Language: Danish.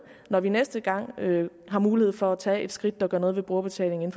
når vi næste gang har mulighed for at tage et skridt der gør noget ved brugerbetalingen